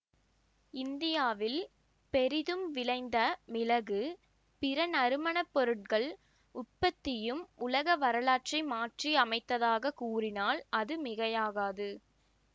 இந்தியாவில் பெரிதும் விளைந்த மிளகு பிற நறுமணப் பொருள்கள் உற்பத்தியும் உலக வரலாற்றை மாற்றி அமைத்ததாகக் கூறினால் அது மிகையாகாது